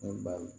Ne ba